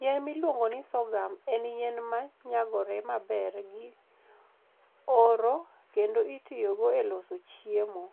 Yien miluongo ni sorghum en yien ma nyagore maber gi oro kendo itiyogo e loso chiemo,